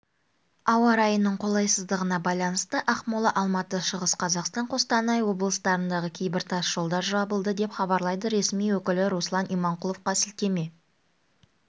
ауа райының қолайсыздығына байланысты ақмола алматы шығыс қазақстан қостанай облыстарындағы кейбір тас жолдар жабылды деп хабарлайды ресми өкілі руслан иманқұловқа сілтеме